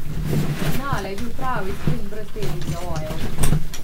Finale je bil pravi sprint brez težjih zavojev.